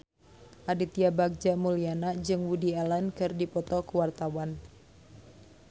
Aditya Bagja Mulyana jeung Woody Allen keur dipoto ku wartawan